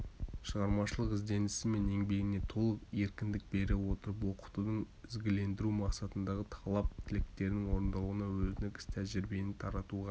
шығармашылық ізденісі мен еңбегіне толық еркіндік бере отырып оқытуды ізгілендіру мақсатындағы талап тілектерінің орындалуына өзіндік іс-тәжірибесін таратуға